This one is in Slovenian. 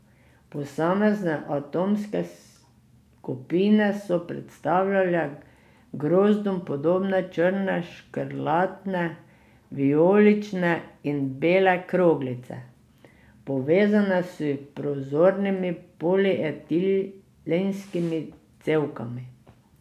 Posamezne atomske skupine so predstavljale grozdom podobne črne, škrlatne, vijolične in bele kroglice, povezane s prozornimi polietilenskimi cevkami.